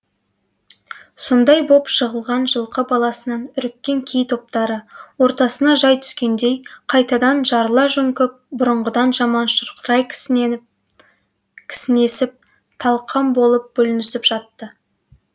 сондай боп жығылған жылқы баласынан үріккен кей топтары ортасына жай түскендей қайтадан жарыла жөңкіп бұрынғыдан жаман шұрқырай кісінесіп талқан болып бүлінісіп жатты